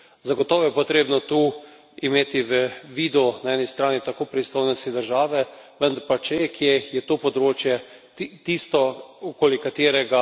Zagotovo je potrebno tu imeti v vidu na eni strani tako pristojnosti države, vendar pa če kje, je to področje tisto, okoli katerega